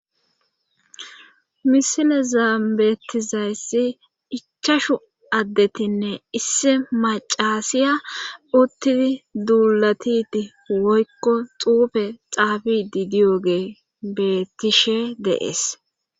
misilezaan betizaysssi ichashu addetinne issi macaasiya uttidi duulatiti woykko xuufe xaafidi diyogee bettishe de7es